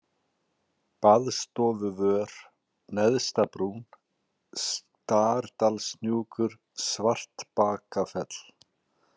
Baðstofuvör, Neðstabrún, Stardalshnúkur, Svartbakafell